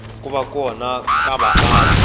ku va kona ka vaaki